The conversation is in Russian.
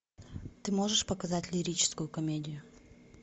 ты можешь показать лирическую комедию